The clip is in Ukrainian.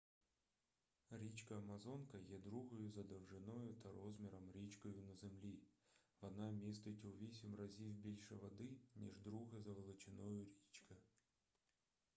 річка амазонка є другою за довжиною та розміром річкою на землі вона містить у 8 разів більше води ніж друга за величиною річка